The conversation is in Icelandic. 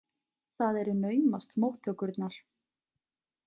Það eru naumast móttökurnar.